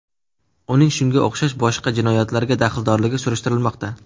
Uning shunga o‘xshash boshqa jinoyatlarga daxldorligi surishtirilmoqda.